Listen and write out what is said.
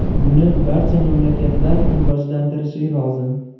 Buni barcha mamlakatlar rivojlantirishi lozim.